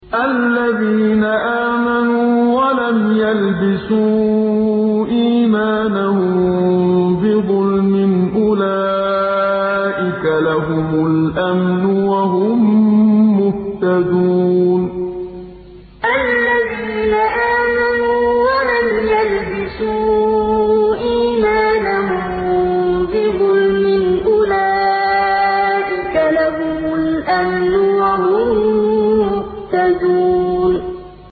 الَّذِينَ آمَنُوا وَلَمْ يَلْبِسُوا إِيمَانَهُم بِظُلْمٍ أُولَٰئِكَ لَهُمُ الْأَمْنُ وَهُم مُّهْتَدُونَ الَّذِينَ آمَنُوا وَلَمْ يَلْبِسُوا إِيمَانَهُم بِظُلْمٍ أُولَٰئِكَ لَهُمُ الْأَمْنُ وَهُم مُّهْتَدُونَ